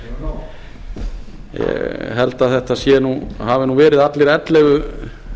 ég held að þetta hafi nú verið allir ellefu